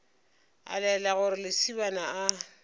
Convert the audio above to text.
a laela gore lesibana a